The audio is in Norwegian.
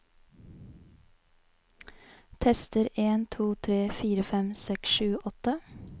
Tester en to tre fire fem seks sju åtte